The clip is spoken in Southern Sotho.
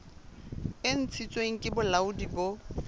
e ntshitsweng ke bolaodi bo